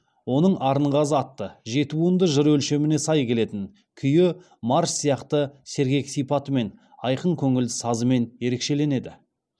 оның арынғазы атты жеті буынды жыр өлшеміне сай келетін күйі марс сияқты сергек сипатымен айқын көңілді сазымен ерекшеленеді